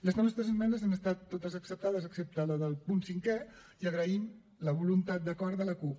les nostres esmenes han estat totes acceptades excepte la del punt cinquè i agraïm la voluntat d’acord de la cup